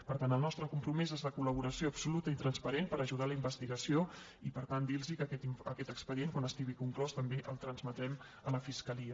per tant el nostre compromís és de col·laboració absoluta i transparent per ajudar en la investigació i per tant dir los que aquest expedient quan estigui conclòs també el transmetrem a la fiscalia